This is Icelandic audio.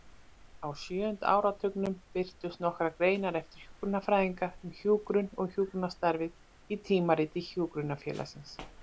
Á sjöunda áratugnum birtust nokkrar greinar eftir hjúkrunarfræðinga um hjúkrun og hjúkrunarstarfið í Tímariti Hjúkrunarfélagsins.